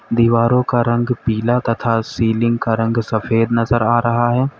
दीवारों का रंग पीला तथा सीलिंग का रंग सफेद नजर आ रहा है।